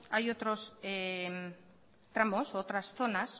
hay otros tramos u otras zonas